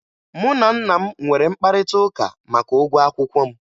Mụ na nna m nwere mkparịtaụka maka ụgwọ akwụkwọ m